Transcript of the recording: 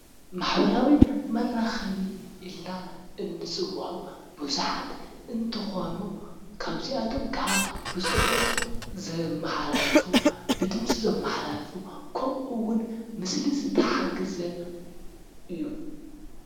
መሕበራዊ መራኸቢ ኢልና ንፅውዖም ቡዙሓት እንትኾኑ ካብዚኣቶሞ ኸዓ ብፅሑፍ ዘመሓላልፉ ፣ ብድምፂ ዘመሓላልፉ ፣ ኸምኡውን ብምስሊ ዝተሓገዘ እዩ።